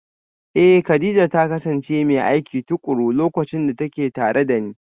Eh, Kadija ta kasance mai aiki tukuru lokacin da take tare da ni